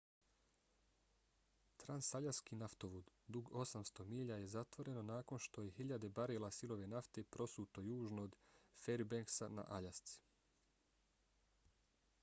transaljaski naftovod dug 800 milja je zatvoreno nakon što je hiljade barela sirove nafte prosuto južno od fairbanksa na aljasci